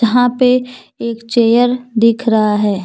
यहां पर एक चेयर दिख रहा है।